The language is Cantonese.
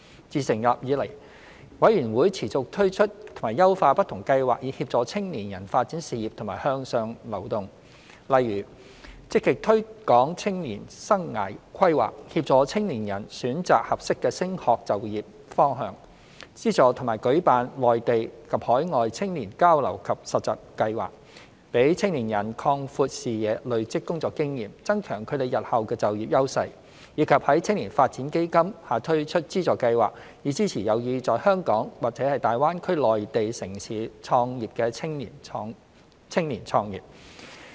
自成立以來，委員會持續推出及優化不同計劃以協助青年人發展事業和向上流動，例如積極推廣青年生涯規劃，協助青年人選擇合適的升學就業方向；資助和舉辦內地及海外青年交流及實習計劃，讓青年人擴闊視野、累積工作經驗、增強他們日後的就業優勢；以及在青年發展基金下推出資助計劃，以支持有意在香港或大灣區內地城市創業的青年創業。